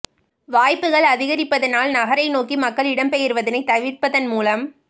வாய்ப்புக்கள் அதிகரிப்பதனால் நகரை நோக்கி மக்கள் இடம் பெயர்வதனை தவிர்ப்பதன் மூலம்